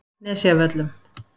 Nesjavöllum